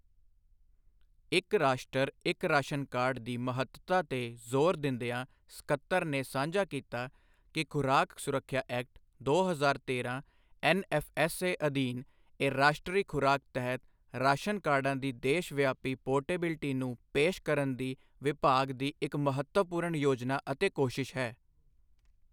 ਇੱਕ ਰਾਸ਼ਟਰ, ਇੱਕ ਰਾਸ਼ਨ ਕਾਰਡ ਦੀ ਮਹੱਤਤਾ ਤੇ ਜ਼ੋਰ ਦਿੰਦਿਆਂ ਸੱਕਤਰ ਨੇ ਸਾਂਝਾ ਕੀਤਾ ਕਿ ਖੁਰਾਕ ਸੁਰੱਖਿਆ ਐਕਟ, ਦੋ ਹਜ਼ਾਰ ਤੇਰਾਂ ਐਨਐਫਐਸਏ ਅਧੀਨ ਇਹ ਰਾਸ਼ਟਰੀ ਖੁਰਾਕ ਤਹਿਤ ਰਾਸ਼ਨ ਕਾਰਡਾਂ ਦੀ ਦੇਸ਼ ਵਿਆਪੀ ਪੋਰਟੇਬਿਲਟੀ ਨੂੰ ਪੇਸ਼ ਕਰਨ ਦੀ ਵਿਭਾਗ ਦੀ ਇੱਕ ਮਹੱਤਵਪੂਰਣ ਯੋਜਨਾ ਅਤੇ ਕੋਸ਼ਿਸ਼ ਹੈ।